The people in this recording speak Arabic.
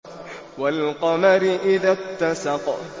وَالْقَمَرِ إِذَا اتَّسَقَ